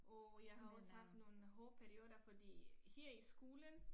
Og jeg har også haft nogen hårde perioder fordi her i skolen